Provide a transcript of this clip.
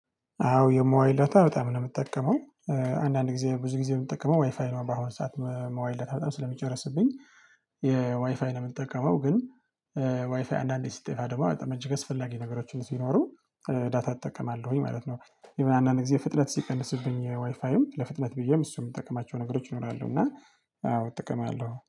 አዎ የሞባይል ዳታ በጣም ነው ምጠቀመው አንዳንድ ጊዜ ብዙ ጊዜ ምጠቀመው ዋይፋይ ነው በአሁን ሰዓት መ ሞባይል ዳታ በጣም ስለሚጨርስብኝ የዋይፋይ ነው ምጠቀመው ግን ዋይፋይ አንዳንዴ ሲጠፋ ደግሞ በጣም እጅግ አስፈላጊ ነገሮችን ሲኖሩ ዳታ እጠቀማለሁኝ ማለት ነው የሆነ አንዳንድ ጊዜ ፍጥነት ሲቀንስብኝ ዋይፋይም ለፍጥነት ብዬም እሱም ምጠቅማቸው ነገሮች ይኖራሉ እና አዎ እጠቀማለሁ።